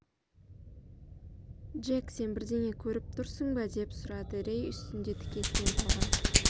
джек сен бірдеңе көріп тұрсың ба деп сұрады рей үстінде тікесінен тұрған